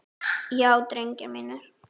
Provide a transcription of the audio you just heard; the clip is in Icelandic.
Já drengir mínir.